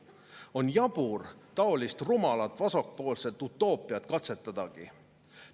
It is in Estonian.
On jabur taolist rumalat vasakpoolset utoopiat katsetadagi.